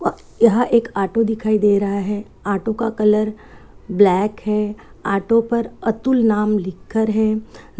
यह एक ऑटो दिखाई दे रहा है ऑटो का कलर ब्लैक है ऑटो पर अतुल नाम लिखर है।